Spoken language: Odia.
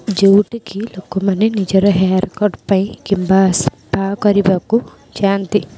ଯୋଉଠି କି ଲୋକ ମାନେ ନିଜର ହେୟାର କଟ୍ ପାଇଁ କିମ୍ବା ସଫା କରିବାକୁ ଯାଆନ୍ତି।